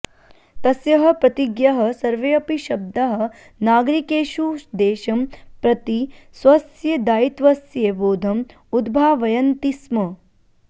तस्याः प्रतिज्ञायाः सर्वेऽपि शब्दाः नागरिकेषु देशं प्रति स्वस्य दायित्वस्य बोधम् उद्भावयन्ति स्म